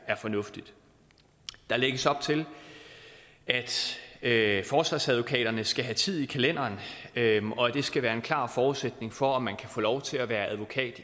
fornuftigt der lægges op til at forsvarsadvokaterne skal have tid i kalenderen og at det skal være en klar forudsætning for at man kan få lov til at være advokat